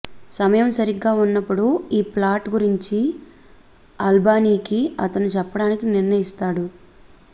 సమయం సరిగ్గా ఉన్నప్పుడు ఈ ప్లాట్ గురించి అల్బానీకి అతను చెప్పడానికి నిర్ణయిస్తాడు